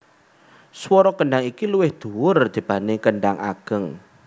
Swara kendhang iki luwih dhuwur dibanding kendhang ageng